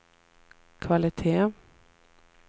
kvalitet